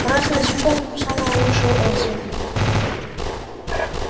красный диплом самые лучшие отзывы